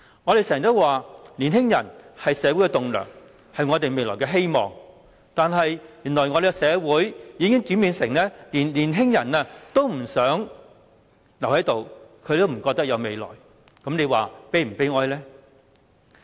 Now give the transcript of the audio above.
我們經常說年輕人是社會的棟樑，是我們未來的希望，但原來社會已經轉變為連年輕人都不想留在這裏，覺得沒有未來，這是否悲哀呢？